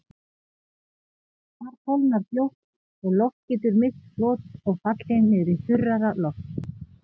Þar kólnar fljótt og loft getur misst flot og fallið niður í þurrara loft.